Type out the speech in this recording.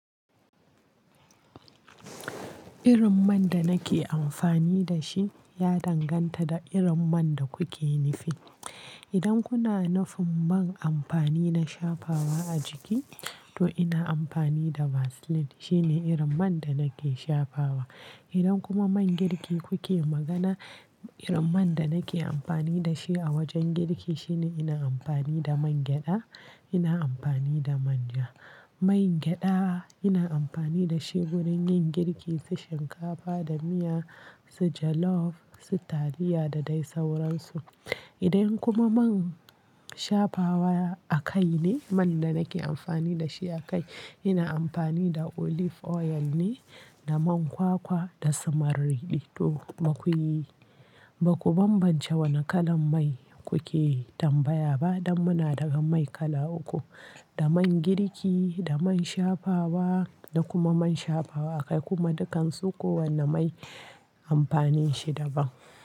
Irin man da nake amfani da shi ya danganta da irin man da kuke nufi. Idan kuna nufin man amfani na shafawa a jiki, to ina amfani da Vaseline. Shine irin man da nake shafawa. Idan kuma man girki kuke magana, irin man da nake amfani da shi a wajen girki shine ina amfani da man gyaɗa, ina amfani da manja. Man gyaɗa ina amfani da shi wurin yin girki su shinkafa da miya, su jollof, su taliya da dai sauransu. Idan kuma man shafawa a kai ne man da nake amfani da shi a kai, ina amfani da olive oil ne, da man kwakwa da sumari ɗito. Bakuyi, baku bambance wani kalan mai kuke tambaya ba, don muna da ga mai kala uku, da man girki, da man shafawa da kuma man shafawa a kai. Kuma dukan su kowanne mai amfanin shi daban.